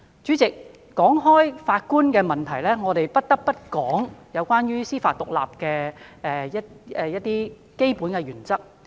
主席，談到法官的問題，我們不得不提及關於司法獨立的基本原則。